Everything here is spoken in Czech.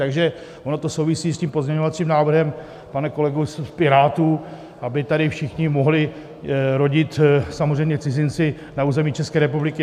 Takže ono to souvisí s tím pozměňovacím návrhem, pane kolego z Pirátů, aby tady všichni mohli rodit, samozřejmě cizinci, na území České republiky.